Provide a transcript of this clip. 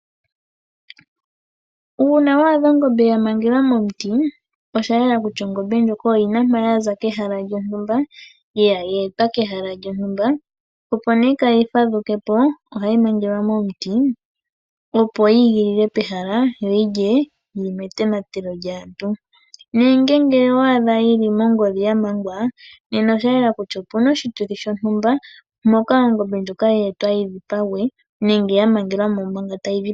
Uuna wa adha ongombe ya mangelwa momuti osha yela kutya ongombe ndjoka oyi na mpa ya za kehala lyonytumba ye etwa kehala lyontumba, opo nduno kaaayi fadhuke po ohayi mangelwa momuti, opo yi igilile pehala yo yi lye yi li metonatelo lyaantu. Nenge ngele owa adha yi li mongodhi ya mangwa nena osha yela kutya opu na oshituthi shontumba, moka ongombe ndjoka ye etwa yi dhipagwe nenge ya mangelwa mo manga tayi dhipagwa.